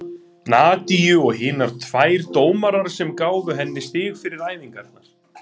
Er engu líkara en hún hafi með einhverjum dularfullum hætti sprottið uppúr berginu.